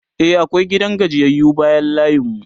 e akwai gidan gajiyayyu bayan layin mu